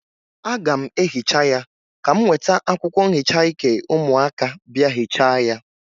Aga m ehicha ya, ka m weta akwụkwọ nhicha ike ụmụaka bịa hịcha ya.